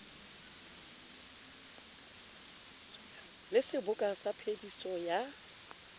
le seboka sa phediso ya